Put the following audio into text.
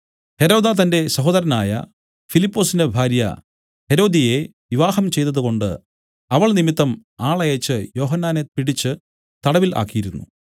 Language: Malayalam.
ഹെരോദാ തന്റെ സഹോദരനായ ഫിലിപ്പൊസിന്‍റെ ഭാര്യ ഹെരോദ്യയെ വിവാഹം ചെയ്തതുകൊണ്ടു അവൾ നിമിത്തം ആളയച്ച് യോഹന്നാനെ പിടിച്ച് തടവിൽ ആക്കിയിരുന്നു